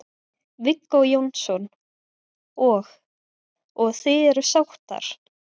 Viggó Jónsson: Og, og þið eruð sáttar?